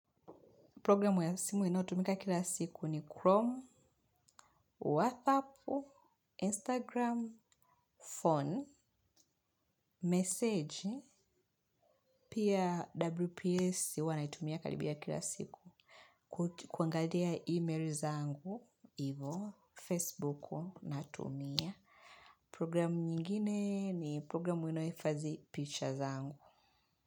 Programu ya simu inayo tumika kila siku ni Chrome, WhatsApp, Instagram, phone message, pia WPS huanaitumia karibia kila siku. Kuangalia email zangu, hivo, Facebook na tumia. Programu nyingine ni programu inayohifadhi pictures zangu.